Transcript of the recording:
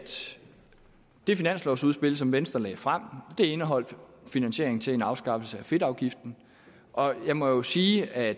det finanslovudspil som venstre lagde frem indeholdt finansieringen til en afskaffelse af fedtafgiften og jeg må sige at